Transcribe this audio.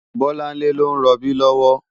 Bolanle ló n ròbí lòwò